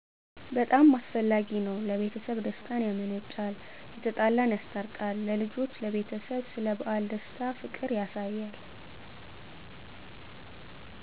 በጣም አስፈላጊ ነዉ ለቤተሰብ ደስታን ያመነጫል የተጣላን ያስታርቃል ለልጆች ለቤተሰብ ስለበዓል ደስታ ፍቅር ያሳያል።